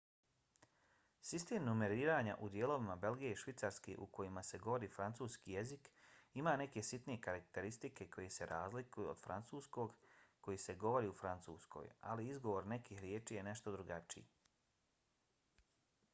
sistem numeriranja u dijelovima belgije i švicarske u kojima se govori francuski jezik ima neke sitne karakteristike koje se razlikuju od francuskog koji se govori u francuskoj a izgovor nekih riječi je nešto drugačiji